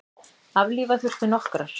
Aflífa þurfti nokkrar.